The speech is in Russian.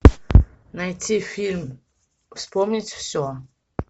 найти фильм вспомнить все